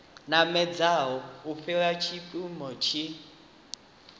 namedzaho u fhira mpimo tshi